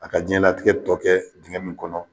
A ka jiyɛn latigɛ tɔ kɛ dingɛ min kɔnɔ.